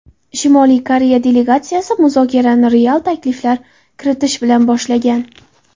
Shimoliy Koreya delegatsiyasi muzokarani real takliflar kiritish bilan boshlagan.